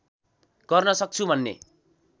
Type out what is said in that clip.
गर्न सक्छु भन्ने